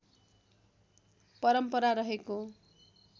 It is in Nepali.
परम्परा रहेको